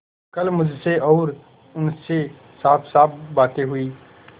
कल मुझसे और उनसे साफसाफ बातें हुई